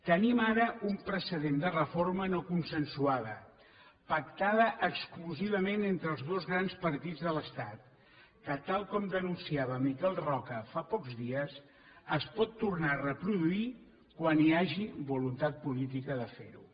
tenim ara un precedent de reforma no consensuada pactada exclusivament entre els dos grans partits de l’estat que tal com denunciava miquel roca fa pocs dies es pot tornar a reproduir quan hi hagi voluntat política de fer ho